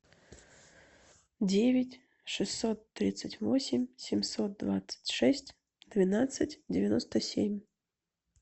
девять шестьсот тридцать восемь семьсот двадцать шесть двенадцать девяносто семь